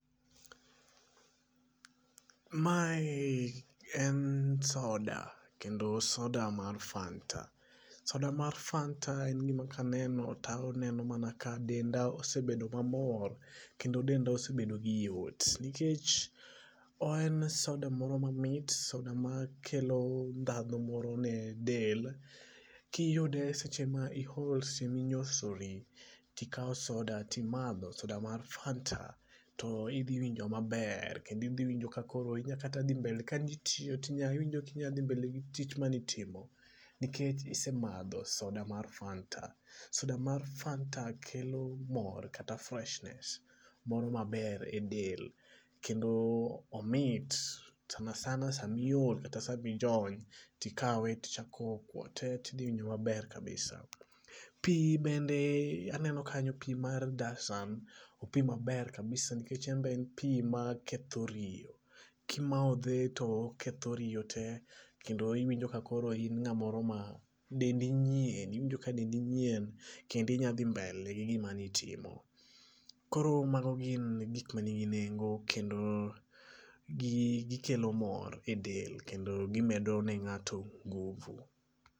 Mae en soda kendo soda mar fanta. Soda mar fanta en gima kaneno to aneno mana ka denda osebedo mamor, kendo denda osebedo gi yot, nikech en soda moro mamit, soda makelo nthatho moro ne del. Kiyude seche ma ihol siminyosori, tikao soda timadho, soda mar fanta, to idhi winjo maber kendo idhi winjo kakoro inyakata dhi mbele kanitiyo. Kanitiyo to iwinjo ka inyadhi mbele gi tich manitimo nikech isemadho soda mar fanta. Soda mar fanta kelo mor kata freshness moro maber e del, kendo omit sanasana sa miol kata sa mijon, tikawe tichako kuote tidhi winjo maber kabisa. Pii bende aneno kanyo pii mar dasani. Opii maber kabisa nikech enbe en pii maketho riyo. Kimothe to oketho riyo te, kendo iwinjo kakoro in ng'a moro makoro dendi nyien, iwinjo ka dendi nyien kendi inya dhi mbele gi gima nitimo. Koro mago gin gik manigi nengo, kendo gikelo mor e del kendo gimedo ne ng'ato ngufu.